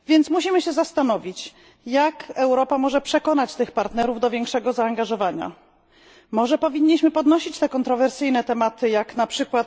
Musimy się zastanowić, jak Europa może przekonać tych partnerów do większego zaangażowania. Może powinniśmy poruszyć te kontrowersyjne tematy, jak np.